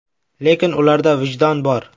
Lekin ularda vijdon bor.